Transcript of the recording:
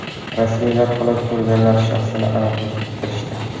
Rasmiylar halok bo‘lganlar shaxsini aniqlashga kirishdi.